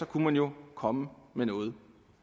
kunne man jo komme med noget